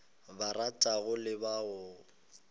ba ratago le ba o